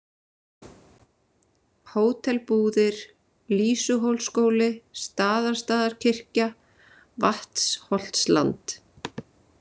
Hótel Búðir, Lýsuhólsskóli, Staðarstaðarkirkja, Vatnsholtsland